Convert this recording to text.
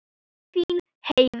Þín Heiða.